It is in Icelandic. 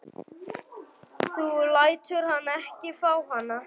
Þú lætur hann ekki fá hana!